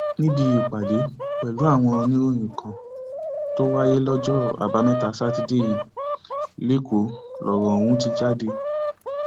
níbi ìpàdé pẹlú àwọn oníròyìn kan tó wáyé lọjọ àbámẹta sátidé yìí lẹkọọ lọrọ ọhún ti jáde